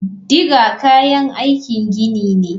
Digger kayan aikin gini ne.